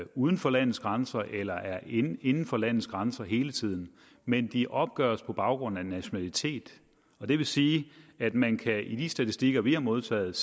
uden for landets grænser eller er inden inden for landets grænser hele tiden men de opgøres på baggrund af nationalitet det vil sige at man i de statistikker vi har modtaget